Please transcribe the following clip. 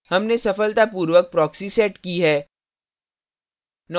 हमने सफलतापूर्वक proxy set की है